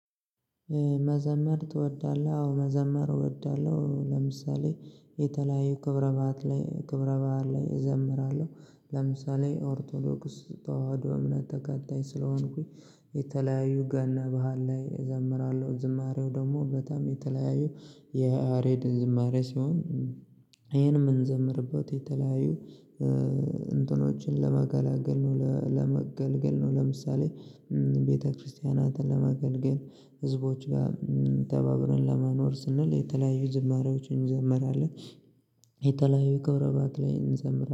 መዘመር ትወዳለህ? አዎ መዘመር እወዳለሁ። ለምሳሌ የተለያዩ ክብረ ባህት ላይ ክብረ በዓል ላይ እዘምራለሁ ለምሳሌ ኦርቶዶክስ ተዋህዶ እምነት ተከታይ ስለሆንኩኝ። የተለያዩ ገና ባህል ላይ እዘምራለሁ። ዝማሬው ደግሞ በጣም የተለያዩ የያሬድ ዝማሬ ሲሆን ይሄን የምንዘምርበት የተለያዩ እ እንትኖችን ለመገላገል ነው ለመገልገል ነው። ለምሳሌ እም ቤተክርስቲያናትን ለማገልገል ህዝቦች ጋር እም ተባብረን ለመኖር ስንል የተለያዩ ዝማሬዎችን እንዘምራለን። የተለያዩ ክብረ በዓት እንዘምራለን